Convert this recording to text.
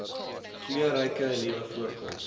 kleurryke nuwe voorkoms